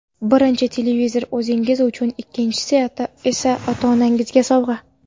Birinchi televizor o‘zingiz uchun, ikkinchisi esa ota-onangizga sovg‘a.